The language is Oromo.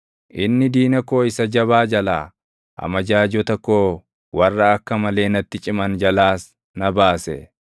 Inni diina koo isa jabaa jalaa, amajaajota koo warra akka malee natti ciman jalaas na baase.